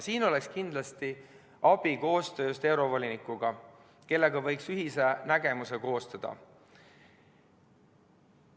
Siin oleks kindlasti abi koostööst eurovolinikuga, kellega võiks ühise nägemuse koostada.